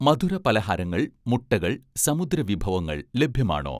മധുരപലഹാരങ്ങൾ, മുട്ടകൾ, സമുദ്രവിഭവങ്ങൾ ലഭ്യമാണോ?